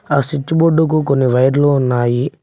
ఆ స్విచ్ బోర్డుకు కొన్ని వైర్లు ఉన్నాయి.